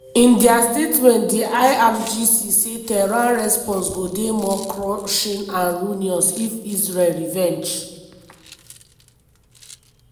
in dia statement di irgc say tehran response go dey "more crushing and ruinous" if israel revenge.